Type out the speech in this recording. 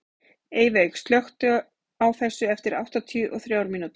Eyveig, slökktu á þessu eftir áttatíu og þrjár mínútur.